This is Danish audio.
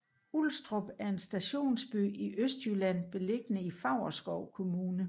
Ulstrup er en stationsby i Østjylland beliggende i Favrskov Kommune